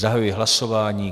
Zahajuji hlasování.